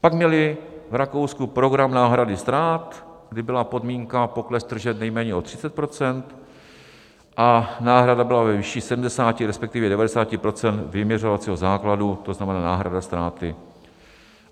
Pak měli v Rakousku program náhrady ztrát, kdy byla podmínka pokles tržeb nejméně o 30 % a náhrada byla ve výši 70, respektive 90 % vyměřovacího základu, to znamená náhrada ztráty.